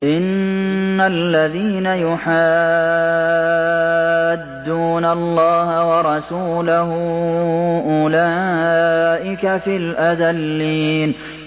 إِنَّ الَّذِينَ يُحَادُّونَ اللَّهَ وَرَسُولَهُ أُولَٰئِكَ فِي الْأَذَلِّينَ